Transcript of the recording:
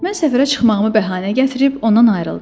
Mən səfərə çıxmağımı bəhanə gətirib ondan ayrıldım.